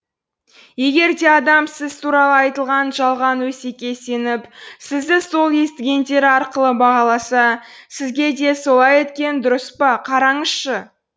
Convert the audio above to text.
егер де адам сіз туралы айтылған жалған өсекке сеніп сізді сол естігендері арқылы бағаласа сізге де солай еткені дұрыс па қараңызшы